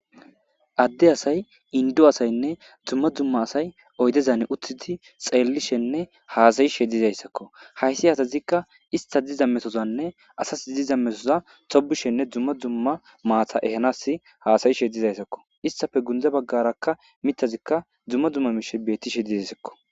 Adde asay indu asaynne dzumma dzumma asay oydezan uttidi xeellishenne haasayishe dizayssakko haysi hatazikka ista diza metozanne asas diza metoza tobishenne dzumma dzumma maata ehanas haasayishe dizayssakko istafe gundza baggarakka mitazikka dzumma dzumma mishe bettishe dizasakko